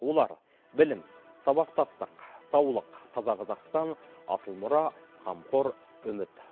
олар білім сабақтастық саулық таза қазақстан асыл мұра қамқор үміт